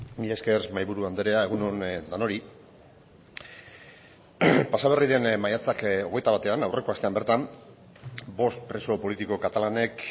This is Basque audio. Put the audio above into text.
mila esker mahaiburu andrea egun on denoi pasa berri den maiatzak hogeita batean aurreko astean bertan bost preso politiko katalanek